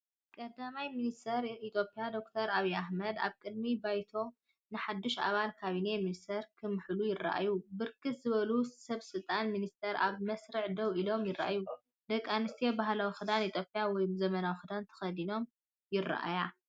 ቀዳማይ ሚኒስትር ኢትዮጵያ ዶክተር ኣብይ ኣሕመድ ኣብ ቅድሚ ባይቶ ንሓድሽ ኣባላት ካቢነ ሚኒስተራት ክምሕሉ ይረኣዩ። ብርክት ዝበሉ ሰበስልጣንን ሚኒስተራትን ኣብ መስርዕ ደው ኢሎም ይረኣዩ። ደቂ ኣንስትዮ ባህላዊ ክዳን ኢትዮጵያ ወይ ዘመናዊ ክዳን ተኸዲነን ይረኣያ።